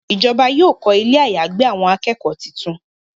Ìjọba yóò kọ Ilé àyágbé àwọn akẹ́kọ̀ọ́ títún.